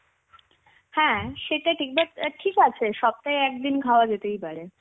হ্যাঁ সেটা ঠিক. but ঠি~ ঠিক আছে, সপ্তাহে একদিন খাওয়া যেতেই পারে.